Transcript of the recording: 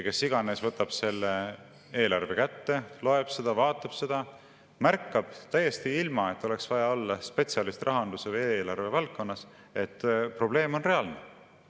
Kes iganes võtab selle eelarve kätte, loeb ja vaatab seda, märkab täiesti ilma, et oleks vaja olla spetsialist rahandus- või eelarvevaldkonnas, et probleem on reaalne.